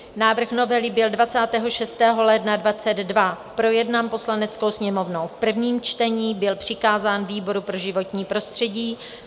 Návrh novely byl 26. ledna 2022 projednán Poslaneckou sněmovnou v prvním čtení, byl přikázán výboru pro životní prostředí.